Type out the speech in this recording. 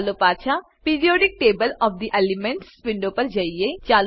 ચાલો પાછા periodic table of the elements window પર જઈએ